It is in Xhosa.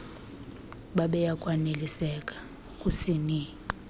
bebeya kwaneliseka kusini